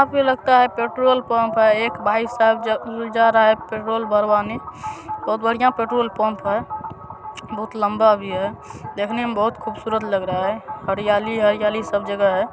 यहां पर लगता है पेट्रोल पंप है | एक भाई साहब जा रहा है पेट्रोल भरवाने | बहुत बढ़िया पेट्रोल पंप है | बहुत लंबा भी है देखने में बहुत खूबसूरत लग रहा है | हरियाली हरियाली सब जगह है |